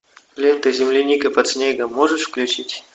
лента земляника под снегом можешь включить